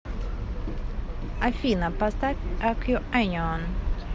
афина поставь акьюэнион